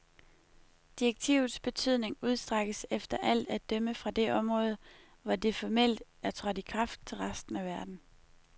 Direktivets betydning udstrækkes efter alt at dømme fra det område, hvor det formelt er trådt i kraft, til resten af verden.